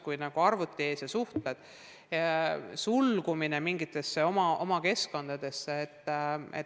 Kuigi sa oled arvuti ees ja suhtled, oled suletud mingitesse oma keskkondadesse.